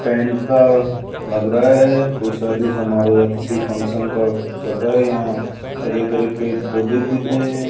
Tent का लग रहा है कोई शादी समारोह या किसी फंक्शन का चल रहा है यहां हरे भरे पेड़ पौधे दिख रहे हैं।